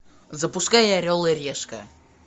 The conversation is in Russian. запускай орел и решка